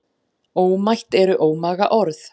Ómætt eru ómaga orð.